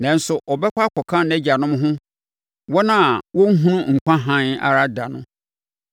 nanso ɔbɛkɔ akɔka nʼagyanom ho, wɔn a wɔrenhunu nkwa hann ara da no.